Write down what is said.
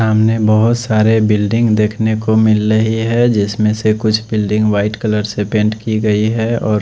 सामने बहत सारे बिल्डिंग देख नेको मिल रहे है जिसमे कुछ बिल्डिंग वाइट कलर से पैंट की गयी है और --